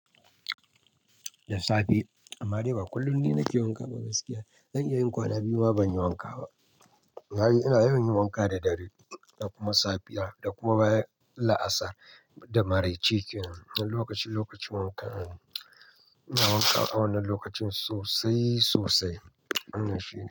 Da safe. Amma dai ba kullum ni nake wanka ba gaskiya. Zan iya yin kwana biyu ma ban yi wanka ba. Ina yawan yin wanka da dare da kuma safiya da kuma baya la'asar da maraice ke nan. Na lokaci lokacin wanka, ina wanka a wannan lokacin sosai sosai. Wannan shine.